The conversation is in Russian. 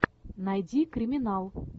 найди криминал